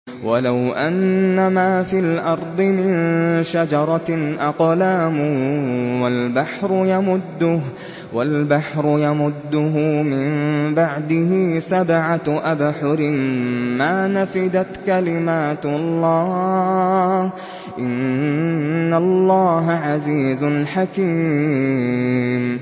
وَلَوْ أَنَّمَا فِي الْأَرْضِ مِن شَجَرَةٍ أَقْلَامٌ وَالْبَحْرُ يَمُدُّهُ مِن بَعْدِهِ سَبْعَةُ أَبْحُرٍ مَّا نَفِدَتْ كَلِمَاتُ اللَّهِ ۗ إِنَّ اللَّهَ عَزِيزٌ حَكِيمٌ